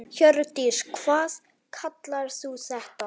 Hjördís: Hvað kallar þú þetta?